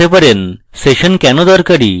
session কেন দরকারী